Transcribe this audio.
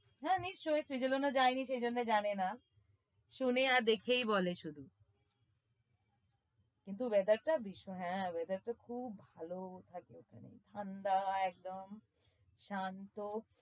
হ্যাঁ নিশ্চয়ই switzerland ও যায়নি সেই জন্যই জানেনা শোনে আর দেখেই বলে শুধু কিন্তু weather টা ভীষণ হ্যাঁ weather টা খুব ভালো থাকে ওখানে ঠাণ্ডা একদম শান্ত।